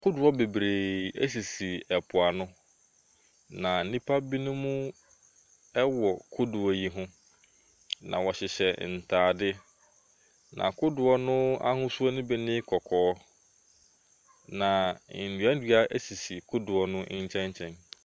Kodoɔ bebree sisi mpoano, na nnipa binom wɔ kodoɔ yi ho, na wɔhyehyɛ ntaade. Na kodoɔ no ahosuo bi ne kɔkɔɔ. Na nnuannua sisi kodoɔ no nkyɛnkyɛn.